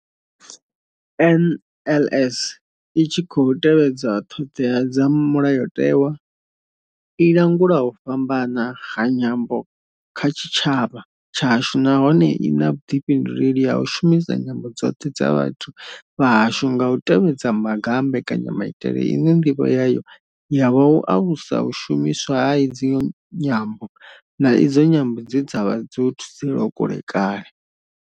NLS I tshi khou tevhedza ṱhodea dza Mulayo tewa, i langula u fhambana ha nyambo kha tshitshavha tshashu nahone I na vhuḓifhinduleli ha u shumisa nyambo dzoṱhe dza vhathu vha hashu nga u tevhedza maga a mbekanya maitele ine ndivho yayo ya vha u alusa u shumiswa ha idzi nyambo, na idzo nyambo dze kale dza vha dzo thudzelwa kule.